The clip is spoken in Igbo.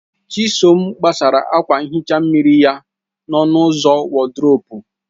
Chisom gbasara akwa nhicha mmiri ya n'ọnụ ụzọ wọdrobu.